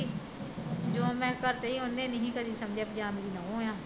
ਜੋ ਮੈਂ ਕਰਤਾ ਉਹਨੇ ਨੀ ਸੀ ਕਦੇ ਸਮਜਿਆ ਵੀ ਜਾਂ ਮੈਂ ਨੂਹ ਆ